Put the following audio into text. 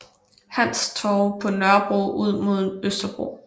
Hans Torv på Nørrebro ud mod Østerbro